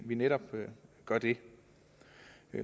vi netop gør det